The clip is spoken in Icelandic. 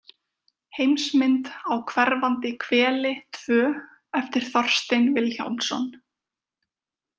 Heimsmynd á hverfandi hveli II eftir Þorstein Vilhjálmsson.